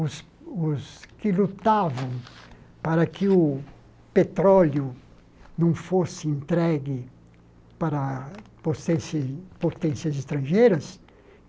os os que lutavam para que o petróleo não fosse entregue para pocence potências estrangeiras.